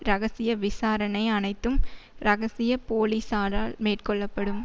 இரகசிய விசாரணை அனைத்தும் இரகசிய போலிசாரால் மேற்கொள்ள படும்